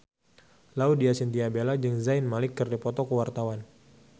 Laudya Chintya Bella jeung Zayn Malik keur dipoto ku wartawan